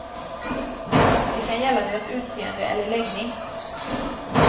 Det kan gälla deras utseende eller läggning.